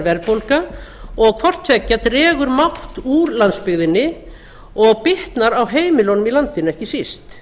verðbólga og hvort tveggja dregur mátt úr landsbyggðinni og bitnar á heimilunum í landinu ekki síst